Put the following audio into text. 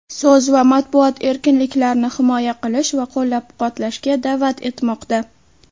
so‘z va matbuot erkinliklarini himoya qilish va qo‘llab-quvvatlashga da’vat etmoqda.